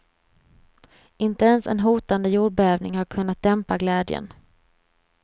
Inte ens en hotande jordbävning har kunnat dämpa glädjen.